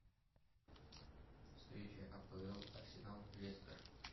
встреча апл арсенал лестер